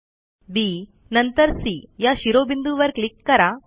आ B नंतर C या शिरोबिंदूंवर क्लिक करा